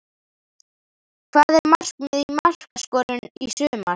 Hvað er markmiðið í markaskorun í sumar?